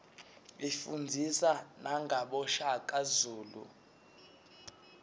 ifundzisa nagabo shaka zulu